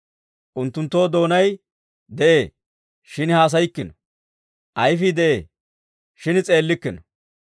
Unttunttoo doonay de'ee; shin haasayikkino; ayifii de'ee; shin s'eellikkino.